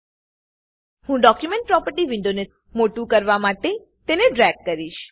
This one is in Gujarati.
હું ડોક્યુમેન્ટ પ્રોપર્ટી વિન્ડો ને મોટું કરવા અંતે તેને ડ્રેગ કરીશ